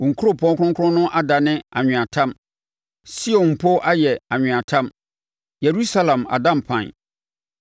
Wo nkuropɔn kronkron no adane anweatam; Sion mpo ayɛ anweatam, Yerusalem ada mpan.